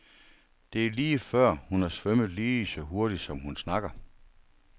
Det er lige før, hun har svømmet lige så hurtigt, som hun snakker.